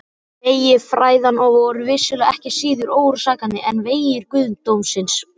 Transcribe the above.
Vegir fræðanna voru vissulega ekki síður órannsakanlegir en vegir guðdómsins!